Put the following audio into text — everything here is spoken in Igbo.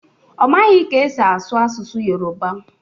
Ọ maghị ka-esi asụ asụsụ Yoroba